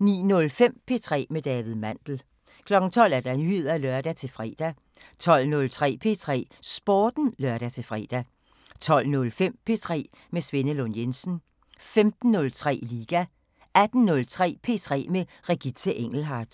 09:05: P3 med David Mandel 12:00: Nyheder (lør-fre) 12:03: P3 Sporten (lør-fre) 12:05: P3 med Svenne Lund Jensen 15:03: Liga 18:03: P3 med Regitze Engelhardt